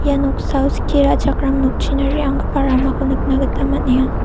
ia noksao skie ra·chakram nokchina re·anggipa ramako nikna gita man·enga.